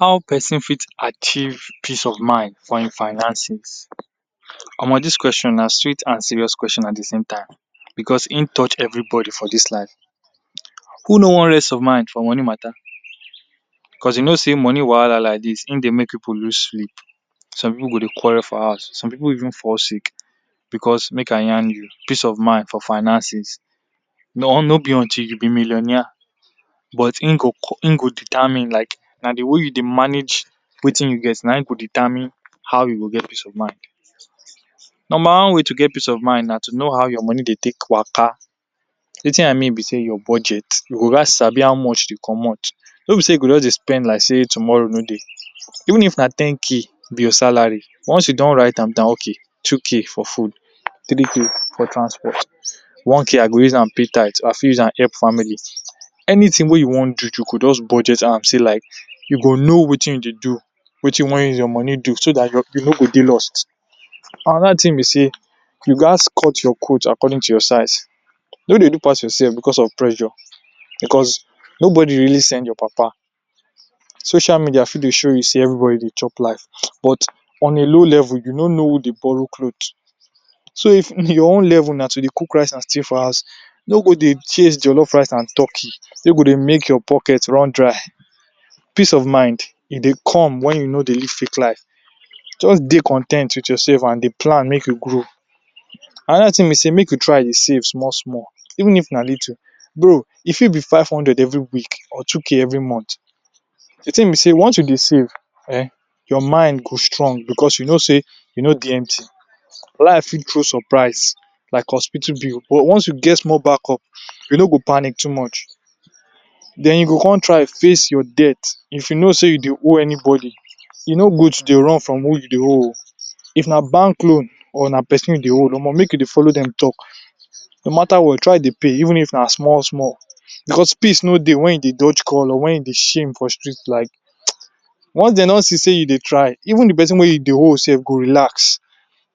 How person fit achieve peace of mind for im finances?. Omo dis question na sweet and serious question at de same time because im touch everybody for dis life. Who no want rest of mind for money matter because you know sey money wahala like dis, im dey make pipu lose sleep. Some pipu go dey quarrel for house, some pipu even fall sick because make I yarn you peace of mind for finances, no be until you be millionaire but im go im go determine like na de way you dey manage wetin you get na im go determine how you dey get peace of mind. Number one way to get peace of mind na to know how your money dey take waka, wetin I mean be sey your budget. You go ghats sabi how much you comot. No be sey you go just dey spend like sey tomorrow no dey. Even if na 10k be your salary, once you don write am down okay 2k for food, 3k for transport, 1k I go use am pay tithe or I fit use am help family. Anything wey you wan do, you go just budget am sey like you go know wetin you dey do, wetin you wan use your money do so dat you no go dey lost. Another thing be sey you ghats cut your coat according to your size, no dey do pass yourself because of pressure because nobody really send your papa. Social media fit dey show you sey everybody dey chop life but on a low level you no know who dey borrow cloth. So if your own level na to dey cook rice and stay for house, no go dey chase jollof rice and turkey wey go dey make your pocket run dry. Peace of mind, e dey come wen you no dey live fake life. Just dey con ten t wit yourself and dey plan make you grow. Another thing be sey make you try dey save small small, even if na little. Though e fit be five hundred every week or two k every month. De thing be sey once you dey save um your mind go strong because you know sey you no dey empty. Life fit throw surprise like hospital bill but once you get small backup, you no go panic too much. Den you go come try face your debt. If you know sey you dey owe anybody, e no good to dey run run who you dey owe oo. If na bank loan or na person you dey owe, omo make you dey follow dem talk. No matter what, try dey pay even if na small small because peace no dey wen you dey dodge call or wen you dey shame for street like. Once dey don see sey you dey try, even person wey you dey owe sef go relax,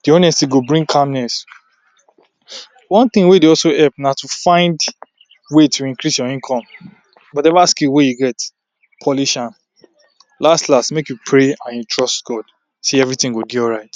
de honesty go bring calmness. One thing wey dey also help na to find way to increase your income. Whatever skill wey you get, polish am. Last last, make you pray and you trust God sey everything go dey alright.